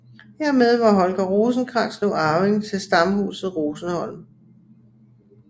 Hermed var Holger Rosenkrantz nu arving til Stamhuset Rosenholm